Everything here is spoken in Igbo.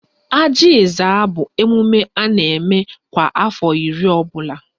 Ajị Ezza bụ emume a na-eme kwa afọ iri ọbụla